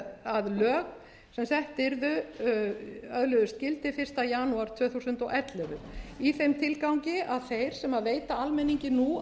að lög sem sett yrðu öðluðust gildi eins janúar tvö þúsund og ellefu í þeim tilgangi að þeir sem veita almenningi nú